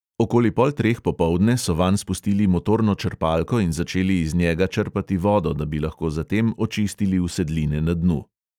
Okoli pol treh popoldne so vanj spustili motorno črpalko in začeli iz njega črpati vodo, da bi lahko zatem očistili usedline na dnu.